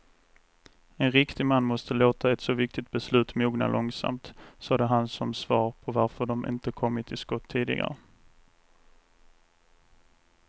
En riktig man måste låta ett så viktigt beslut mogna långsamt, sade han som svar på varför de inte kommit till skott tidigare.